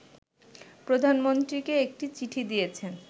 প্রধানমন্ত্রীকে একটি চিঠি দিয়েছেন